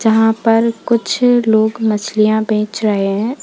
यहां पर कुछ लोग मछलियां बेच रहे हैं।